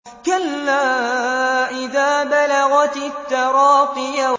كَلَّا إِذَا بَلَغَتِ التَّرَاقِيَ